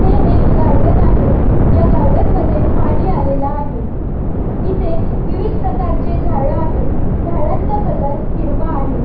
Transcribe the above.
हे एक गार्डन आहे ह्या गार्डन मध्ये पाणी आलेल आहे इथे विविध प्रकारची झाड आहेत झाडांचा कलर हिरवा आहे.